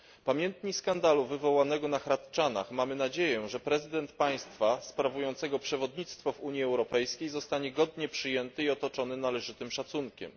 Pamiętni skandalu wywołanego na Hradczanach mamy nadzieję, że prezydent państwa sprawującego przewodnictwo w Unii Europejskiej zostanie godnie przyjęty i otoczony należytym szacunkiem.